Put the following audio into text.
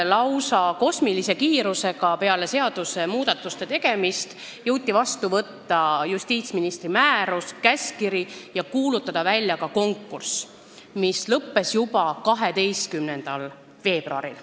Lausa kosmilise kiirusega jõuti peale seadusmuudatuste tegemist võtta vastu justiitsministri määrus ja käskkiri ning kuulutada välja ka konkurss, mis lõppes juba 12. veebruaril.